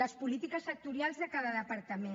les polítiques sectorials de cada departament